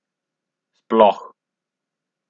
Sploh!